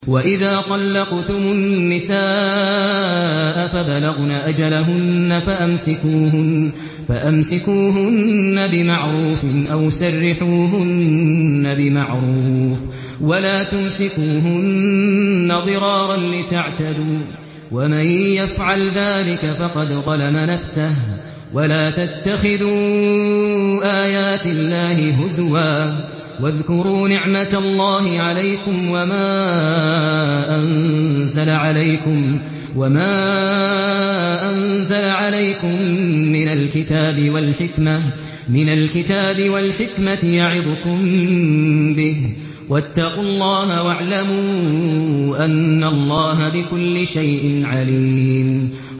وَإِذَا طَلَّقْتُمُ النِّسَاءَ فَبَلَغْنَ أَجَلَهُنَّ فَأَمْسِكُوهُنَّ بِمَعْرُوفٍ أَوْ سَرِّحُوهُنَّ بِمَعْرُوفٍ ۚ وَلَا تُمْسِكُوهُنَّ ضِرَارًا لِّتَعْتَدُوا ۚ وَمَن يَفْعَلْ ذَٰلِكَ فَقَدْ ظَلَمَ نَفْسَهُ ۚ وَلَا تَتَّخِذُوا آيَاتِ اللَّهِ هُزُوًا ۚ وَاذْكُرُوا نِعْمَتَ اللَّهِ عَلَيْكُمْ وَمَا أَنزَلَ عَلَيْكُم مِّنَ الْكِتَابِ وَالْحِكْمَةِ يَعِظُكُم بِهِ ۚ وَاتَّقُوا اللَّهَ وَاعْلَمُوا أَنَّ اللَّهَ بِكُلِّ شَيْءٍ عَلِيمٌ